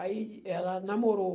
Aí ela namorou.